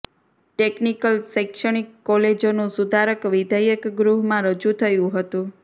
technical શૈક્ષણિક કોલેજોનું સુધારક વિધેયક ગૃહમાં રજુ થયું હતું